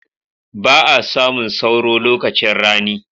Ba'a samun sauro lokacin rani.